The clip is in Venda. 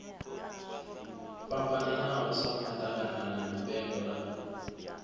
fhambananaho sa maḓaganana mipengo na